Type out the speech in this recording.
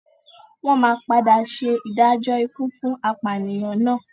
Wọ́n máa padà ṣe ìdájọ́ ikú fún apànìyàn náà.